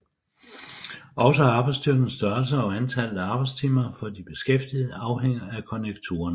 Også arbejdsstyrkens størrelse og antallet af arbejdstimer for de beskæftigede afhænger af konjunkturerne